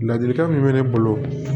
Ladilikan min bɛ ne bolo